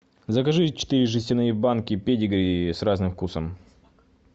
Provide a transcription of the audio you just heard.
закажи четыре жестяные банки педигри с разным вкусом